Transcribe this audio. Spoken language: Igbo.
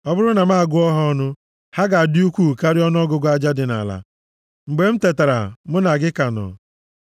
Ọ bụrụ na m agụọ ha ọnụ, ha ga-adị ukwuu karịa ọnụọgụgụ aja dị nʼala. Mgbe m tetara, mụ na gị ka nọ.